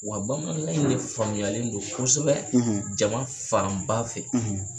Wa bamanan in de faamuyayalen don kosɛbɛ jama fanba fɛ.